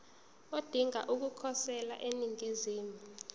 odinga ukukhosela eningizimu